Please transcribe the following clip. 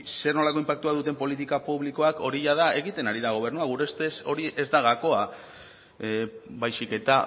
zer nolako inpaktua duten politika publikoak hori jada egiten ari da gobernua gure ustez hori ez da gakoa baizik eta